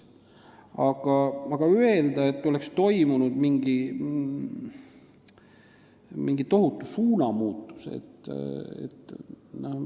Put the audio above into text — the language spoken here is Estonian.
Aga kas saab öelda, nagu oleks toimunud mingi tohutu suunamuutus?